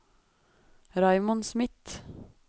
Raymond Smith